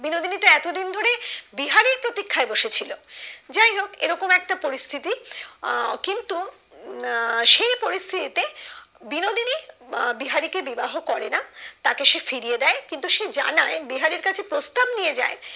বিহারীর প্রতীক্ষায় বসে ছিল যাইহোক এরকম একটা পরিস্থিতি আহ কিন্তু আহ সেই পরিস্থিতি তে বিনোদিনী আহ বিহারি কে বিবাহ করে না তাকে সে ফিরিয়ে দেয় কিন্তু সে জানায় বিহারীর কাছে প্রস্তাব নিয়ে যায়